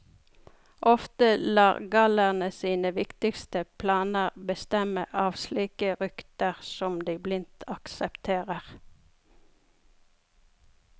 Ofte lar gallerne sine viktigste planer bestemme av slike rykter som de blindt aksepterer.